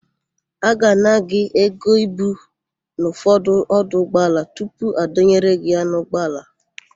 A ga-ana gị ego ibu n'ụfọdụ ọdụ ụgbọala tupu adọnyere gị ya n'ụgbọala.